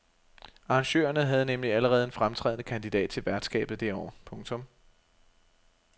Arrangørerne har nemlig allerede en fremtrædende kandidat til værtskabet det år. punktum